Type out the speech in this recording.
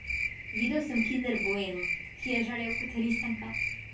Videl sem kinder bueno, ki je žarel kot risanka.